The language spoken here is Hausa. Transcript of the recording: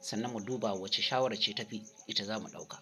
sannan mu duba wacce shawara ce tafi ita za mu ɗauka.